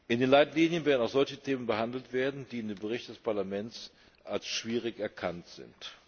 In den Leitlinien werden auch solche Themen behandelt werden, die in dem Bericht des Parlaments als schwierig erkannt sind.